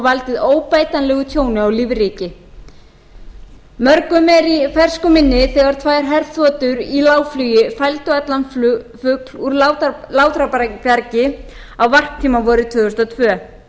valdið óbætanlegu tjóni á lífríki mörgum er í fersku minni þegar tvær herþotur í lágflugi fældu allan fugl úr látrabjargi á varptíma vorið tvö þúsund og tvö það er